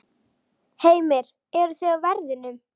Heimir: Eruð þið á verðinum?